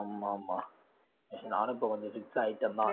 ஆமா ஆமா actually நானும் இப்ப கொஞ்சம் fix ஆயிட்டேன் தான்